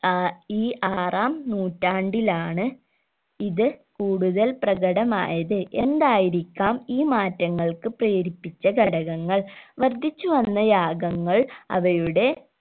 ഏർ ഈ ആറാം നൂറ്റാണ്ടിലാണ് ഇത് കൂടുതൽ പ്രകടമായത് എന്തായിരിക്കാം ഈ മാറ്റങ്ങൾക്ക് പ്രേരിപ്പിച്ച ഘടകങ്ങൾ വർധിച്ചു വന്ന യാഗങ്ങൾ അവയുടെ